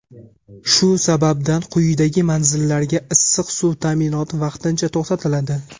Shu sababdan quyidagi manzillarga issiq suv ta’minoti vaqtincha to‘xtatiladi:.